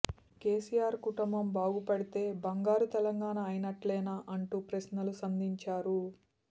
కెసిఆర్ కుటుంబం బాగుపడితే బంగారు తెలంగాణ అయినట్లేనా అంటూ ప్రశ్నలు సంధించారు